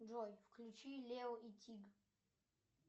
джой включи лео и тиг